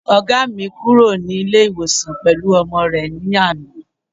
Ọ̀gá mi kúrò ní ilé ìwòsan pẹ̀lú ọmọ rẹ ní àná